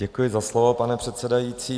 Děkuji za slovo, pane předsedající.